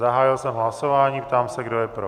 Zahájil jsem hlasování, ptám se, kdo je pro.